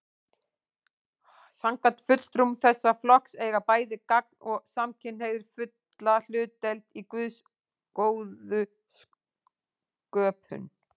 Samkvæmt fulltrúum þessa flokks eiga bæði gagn- og samkynhneigðir fulla hlutdeild í Guðs góðu sköpun.